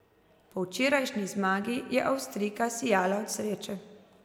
Po včerajšnji zmagi je Avstrijka sijala od sreče.